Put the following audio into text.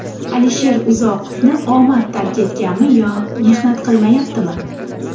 Alisher Uzoqovni omad tark etganmi yo mehnat qilmayaptimi?